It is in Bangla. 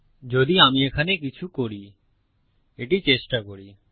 যদি আমি এখানে কিছু করি এটি চেষ্টা করি